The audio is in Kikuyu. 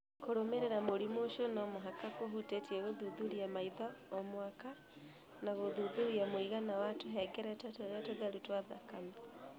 Kũrũmĩrĩra mũrimũ ũcio no mũhaka kũhutĩtie gũthuthuria maitho o mwaka na gũthuthuria mũigana wa tũhengereta tũrĩa tũtheru twa thakame.